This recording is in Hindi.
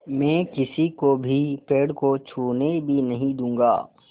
मैं किसी को भी पेड़ को छूने भी नहीं दूँगा